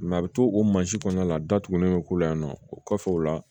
a bɛ to o mansin kɔnɔna la datugulen bɛ k'u la yan nɔ o kɔfɛ o la